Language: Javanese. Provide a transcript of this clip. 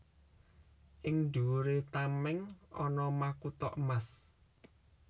Ing dhuwuré tamèng ana makutha emas